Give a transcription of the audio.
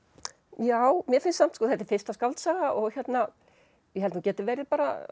já mér finnst samt þetta er fyrsta skáldsaga og ég held hún geti verið